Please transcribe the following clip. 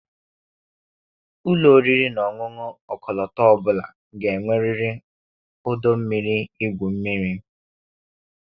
Ụlọ oriri na ọṅụṅụ ọkọlọtọ ọ bụla ga-enwerịrị ọdọ mmiri igwu mmiri.